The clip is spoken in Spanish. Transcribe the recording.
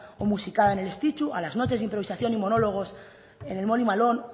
o musicada en el estitxu a las noches de improvisación y monólogos en el molly malone